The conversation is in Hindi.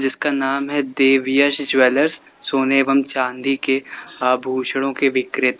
इसका नाम है देवयश ज्वेलर्स सोने एवं चांदी के आभूषणों के विक्रेता।